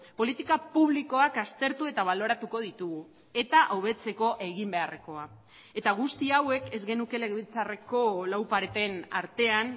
politika publikoak aztertu eta baloratuko ditugu eta hobetzeko egin beharrekoa eta guzti hauek ez genuke legebiltzarreko lau pareten artean